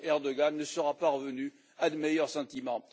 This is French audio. Erdoğan ne sera pas revenu à de meilleurs sentiments.